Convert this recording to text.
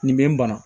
Nin bɛ n bana